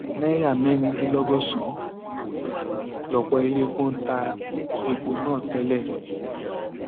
náírà mẹrin dín lọgọsànán lọpọ iléepo ń ta epo náà tẹlẹ